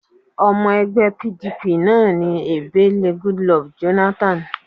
Ọmọ ẹgbẹ́ PDP náà ni Ebele Goodluck Jonathan